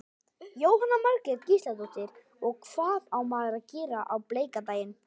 Jóhanna Margrét Gísladóttir: Og hvað á maður að gera á bleika daginn?